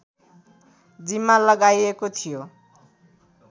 जिम्मा लगाइएको थियो